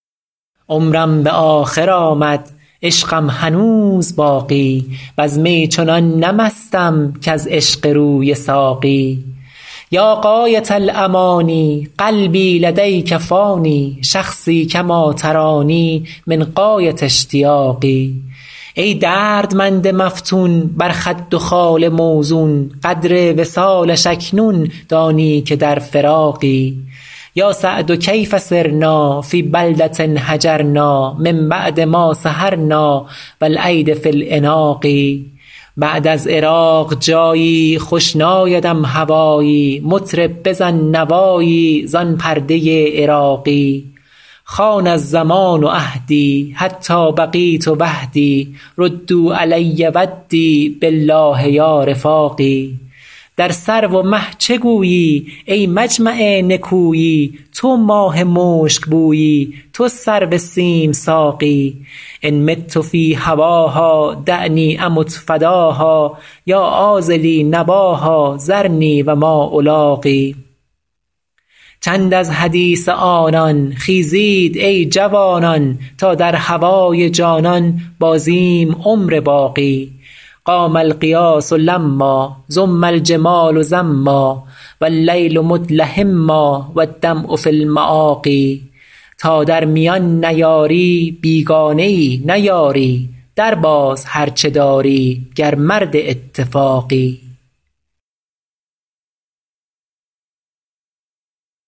عمرم به آخر آمد عشقم هنوز باقی وز می چنان نه مستم کز عشق روی ساقی یا غایة الأمانی قلبی لدیک فانی شخصی کما ترانی من غایة اشتیاقی ای دردمند مفتون بر خد و خال موزون قدر وصالش اکنون دانی که در فراقی یا سعد کیف صرنا فی بلدة هجرنا من بعد ما سهرنا و الایدی فی العناق بعد از عراق جایی خوش نایدم هوایی مطرب بزن نوایی زان پرده عراقی خان الزمان عهدی حتی بقیت وحدی ردوا علی ودی بالله یا رفاقی در سرو و مه چه گویی ای مجمع نکویی تو ماه مشکبویی تو سرو سیم ساقی ان مت فی هواها دعنی امت فداها یا عاذلی نباها ذرنی و ما الاقی چند از حدیث آنان خیزید ای جوانان تا در هوای جانان بازیم عمر باقی قام الغیاث لما زم الجمال زما و اللیل مدلهما و الدمع فی المآقی تا در میان نیاری بیگانه ای نه یاری درباز هر چه داری گر مرد اتفاقی